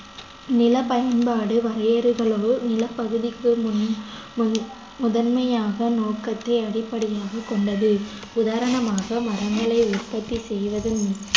நிலப் பயன்பாடு வரையறைகளுல் நிலப்பகுதிக்கு முன்~ முன்~ முதன்மையாக நோக்கத்தை அடிப்படையாகக் கொண்டது உதாரணமாக மரங்களை உற்பத்தி செய்வதன் மூ~